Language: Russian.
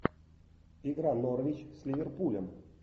игра норвич с ливерпулем